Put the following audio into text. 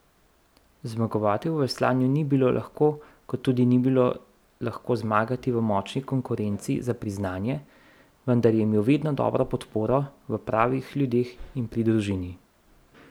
Zmagovati v veslanju ni bilo lahko kot tudi ni bilo lahko zmagati v močni konkurenci za priznanje, vendar je imel vedno dobro podporo v pravih ljudeh in pri družini.